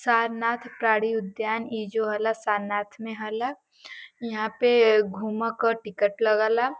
साननाथ प्राणी उददायन ई जो होला साननाथ में ह ल । यहां पे घूमे क टिकट लागेला।